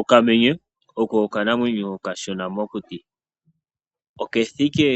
Okamenye oko okanamwenyo okashona mokuti. Okethike